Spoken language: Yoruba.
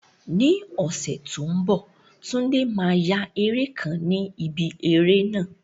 Ní ọ̀sẹ̀ tó ń bọ̀, Tunde máa ya eré kan ni ibi eré náà.